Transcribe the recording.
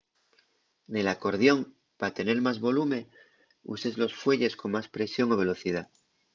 nel acordión pa tener más volume uses los fuelles con más presión o velocidá